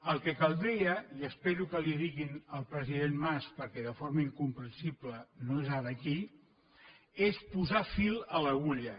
el que caldria i espero que li ho diguin al president mas perquè de forma incomprensible no és ara aquí és posar fil a l’agulla